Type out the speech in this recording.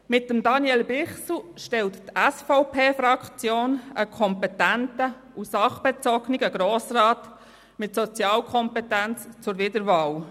Mit Daniel Bichsel stellt die SVP-Fraktion einen kompetenten und sachbezogenen Grossrat mit Sozialkompetenz zur Wiederwahl.